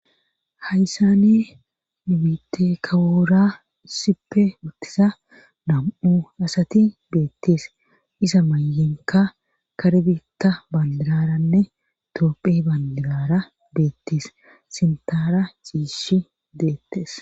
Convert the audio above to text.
hayssane nu biite kawoora sipe uttisa nam7u asati beettes isa mayenka kare bitta bandiraranne toopphe bandiarara beettis sintaara ciishi deettes